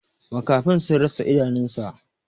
Makafin sun rasa idanunsa.